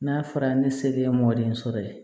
N'a fɔra ne selen ye mɔdɛli sɔrɔ ye